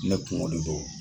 Ne kungo de don